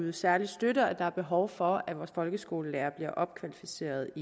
en særlig støtte og der er behov for at vores folkeskolelærere bliver opkvalificeret